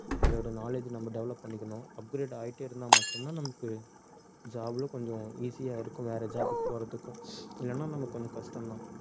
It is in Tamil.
அதோட knowledge நம்ம develop பண்ணிக்கணும் upgrade ஆயிட்டே இருந்தா மட்டும்தான் நமக்கு job ல கொஞ்சம் easy யா இருக்கும் வேற job க்கு போறதுக்கும் இல்லைன்னா நமக்கு கொஞ்சம் கஷ்டம்தான்